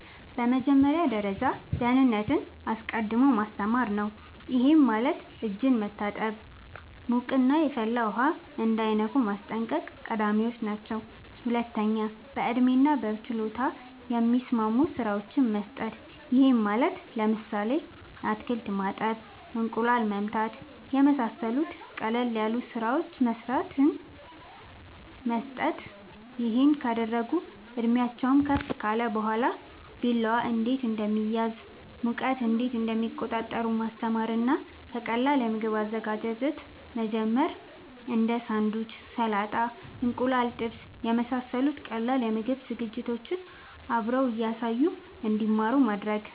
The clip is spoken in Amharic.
በመጀመሪያ ደረጃ ደህንነትን አስቀድሞ ማስተማር ነዉ ይሄም ማለት እጅን መታጠብ ሙቅና የፈላ ውሃ እንዳይነኩ ማስጠንቀቅ ቀዳሚወች ናቸው ሁለተኛ በእድሜና በችሎታ የሚስማሙ ስራወችን መስጠት ይሄም ማለት ለምሳሌ አትክልት ማጠብ እንቁላል መምታት የመሳሰሉት ቀለል ያሉ ስራወችን መስጠት ይሄን ካደረጉ እድሜአቸውም ከፍ ካለ በኋላ ቢላዋ እንዴት እንደሚያዝ ሙቀት እንዴት እንደሚቆጣጠሩ ማስተማር እና ከቀላል የምግብ አዘገጃጀት መጀመር እንዴ ሳንዱች ሰላጣ እንቁላል ጥብስ የመሳሰሉት ቀላል የምግብ ዝግጅቶችን አብሮ እያሳዩ እንድማሩ ማድረግ